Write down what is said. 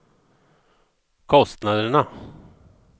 kostnaderna